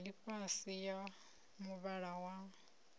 ya ḽifhasi ya muvhala wa